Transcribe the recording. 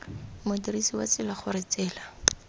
modirisi wa tsela gore tsela